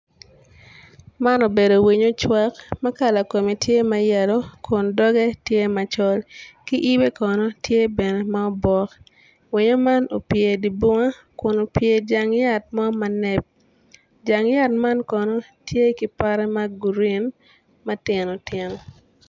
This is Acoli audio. Man obedo winy ocwak ma kala kome tye ma yelo dok doge tye macol ki yibe kono tye bene ma obok winyo man opye idye binga kun opye ijang yat mo manep jang yat man kono tye ki pote ma gurin ma tino tino